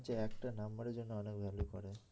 হচ্ছে একটা নাম্বারের জন্য অনেক value করে